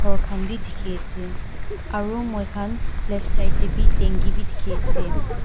Ghor khan bi dekhi ase aro moikhan left side tey bi tanki bi dekhi ase.